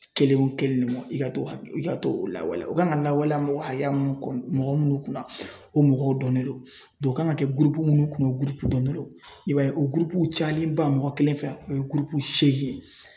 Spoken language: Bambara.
Kelen o kelen de mɔ i ka to i ka t'o lawaleya u kan ka lawaleya mɔgɔ hakɛya mun kun mɔgɔw munnu kunna o mɔgɔw dɔnnen do o kan ka kɛ minnu kun dɔnnen do i b'a ye o cayalenba mɔgɔ kelen fɛ o ye ye.